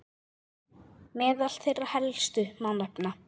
Meðal þeirra helstu má nefna